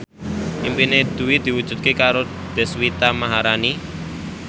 impine Dwi diwujudke karo Deswita Maharani